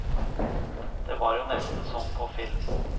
Det var jo nesten som på film.